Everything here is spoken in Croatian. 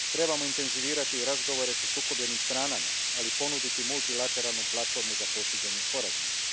Trebamo intenzivirati razgovore sa sukobljenim stranama, ali ponuditi multilateralnu platformu za postizanje sporazuma.